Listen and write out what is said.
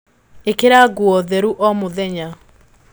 ĩkĩra nguo theru o muthenya